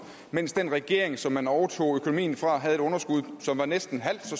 mens den regering som man overtog økonomien fra havde et underskud som var næsten halvt så